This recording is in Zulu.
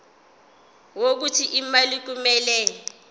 wokuthi imali kumele